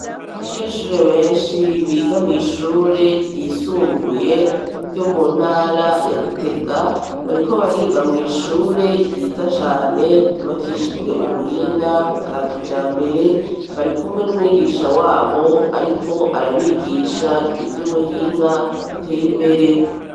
Abanyeshure benshi biga mw'ishure ryisumbuye yo mu ntara ya Gitega bariko bariga mw'ishure ryiza cane ryubakishijwe ubuhinga bwa kijambere. Bari kumwe n'umwigisha wabo ariko arabigisha ivy'ubuhinga buteye imbere.